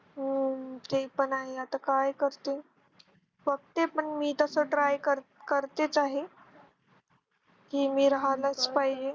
हो ते पण आहे आता काय करते. बघते पण मी तस Try करते. करतेच आहे. कि मी राहालच पाहिजे.